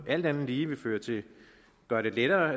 alt andet lige vil gøre det lettere